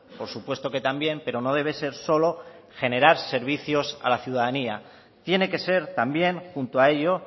por supuesto que también pero no debe ser solo generar servicios a la ciudadanía tiene que ser también junto a ello